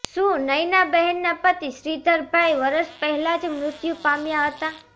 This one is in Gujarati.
સુનયનાબહેનના પતિ શ્રીધરભાઈ વરસ પહેલા જ મૃત્યુ પામ્યા હતા